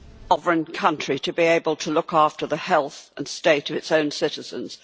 a sovereign country to be able to look after the health and state of its own citizens.